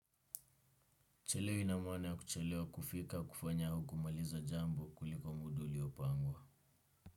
Kuchelewa ina maana ya kuchelewa kufika kufanya au kumaliza jambo kuliko muda uliopangwa.